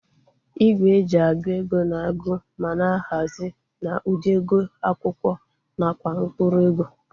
Igwe eji agụ ego na agu ma na-ahazi na ụdị ego akwụkwọ nakwa mkpụrụ ego